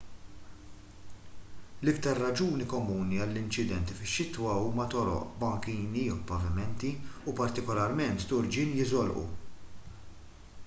l-iktar raġuni komuni għall-inċidenti fix-xitwa huma toroq bankini pavimenti u partikolarment turġien li jiżolqu